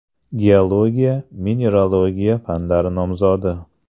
Geologiya-mineralogiya fanlari nomzodi.